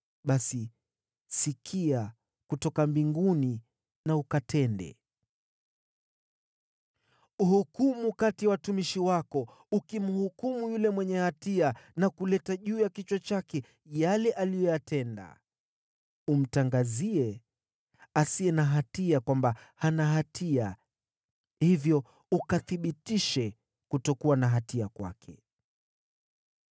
basi, sikia kutoka mbinguni na ukatende. Hukumu kati ya watumishi wako, ukimwadhibu yule mwenye hatia kwa kuleta juu ya kichwa chake yale aliyoyatenda. Umtangazie mwenye haki kwamba hana hatia, hivyo ukathibitishe kuwa haki kwake.